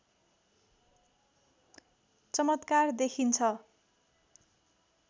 चमत्कार देखिन्छ